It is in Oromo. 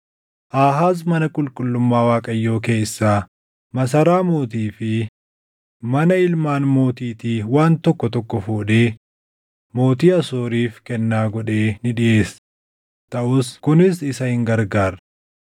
Aahaaz mana qulqullummaa Waaqayyoo keessaa, masaraa mootii fi mana ilmaan mootiitii waan tokko tokko fuudhee mootii Asooriif kennaa godhee ni dhiʼeesse; taʼus kunis isa hin gargaarre.